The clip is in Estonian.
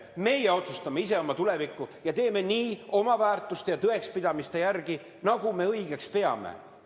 Meie otsustame ise oma tuleviku üle ja teeme seda oma väärtuste ja tõekspidamiste järgi, nii, nagu me õigeks peame.